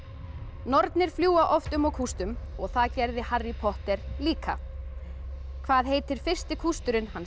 nornir fljúga oft um á kústum og það gerði Harry Potter líka hvað heitir fyrsti kústurinn hans